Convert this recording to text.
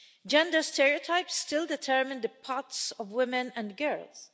Gender stereotypes still determine the paths of women and girls.